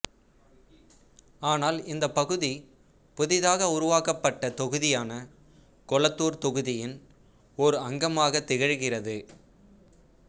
ஆனால் இந்தப் பகுதி புதிதாக உருவக்கப்பட்ட தொகுதியான கொளத்தூர் தொகுதியின் ஓர் அங்கமாக திகழ்கிறது